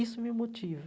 Isso me motiva.